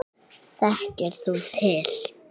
Þekkir þú til?